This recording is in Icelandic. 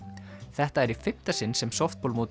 þetta er í fimmta sinn sem